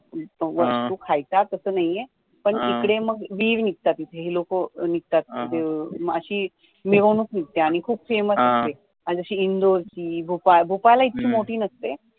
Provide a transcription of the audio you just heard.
तो खायचा तसा नाहिये पण इकडे वीर निघतात इकडे ही लोक माशी मिरवणूक निघते खूप famous निघते आणी जशी इंदौर ची, भोपाळ भोपळ ला इतकी मोठी नसते